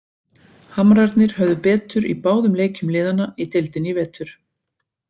Hamrarnir höfðu betur í báðum leikjum liðanna í deildinni í vetur.